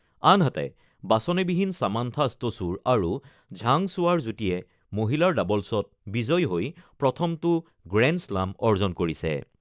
আনহাতে, বাছনিবিহীন Samantha Stosur আৰু ঝাং শ্বুৱাৰ যুটিয়ে মহিলাৰ ডাবল্ছত বিজয়ী হৈ প্ৰথমটো গ্ৰেণ্ডশ্লাম অৰ্জন কৰিছে।